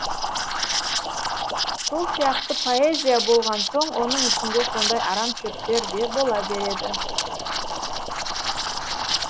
сол сияқты поэзия болған соң оның ішінде сондай арам шөптер де бола береді